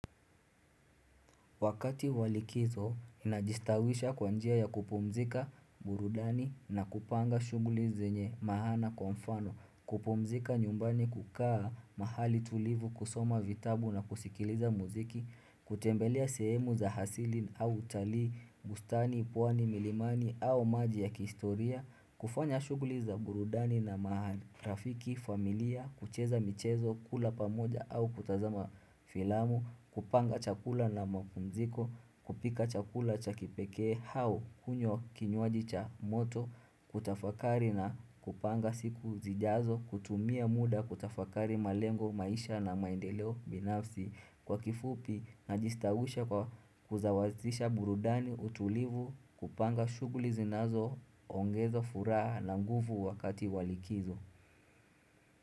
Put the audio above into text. Wakati wa likizo najistawisha kwa njia ya kupumzika burudani na kupanga shughuli zenye maana kwa mfano, kupumzika nyumbani kukaa mahali tulivu kusoma vitabu na kusikiliza muziki, kutembelea sehemu za asili au utalii, bustani, pwani, milimani au maji ya kihistoria, kufanya shughuli za burudani na maana. Rafiki, familia, kucheza michezo, kula pamoja au kutazama filamu, kupanga chakula na mapumziko, kupika chakula cha kipekee au kunywa kinywaji cha moto, kutafakari na kupanga siku zijazo, kutumia muda, kutafakari malengo, maisha na maendeleo binafsi, kwa kifupi, najistawisha kwa kusawazisha burudani, utulivu, kupanga shughuli zinazo, ongeza furaha na nguvu wakati wa likizo.